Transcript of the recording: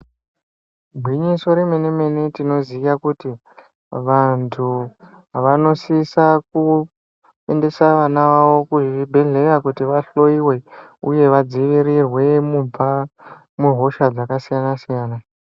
Gwinyiso remene mene tinoziye kuti vantu vanosisa kuendesa vana vavo kuzvibhdhleya kuti vahloyiwe uye vadzivirirwe mubva muhosha dzakasiyana-siyana